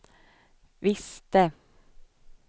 visste